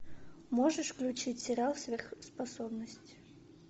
можешь включить сериал сверхспособности